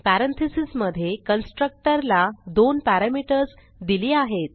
parenthesis मधे constructor ला दोन पॅरामीटर्स दिली आहेत